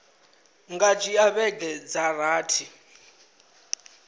nga dzhia vhege dza rathi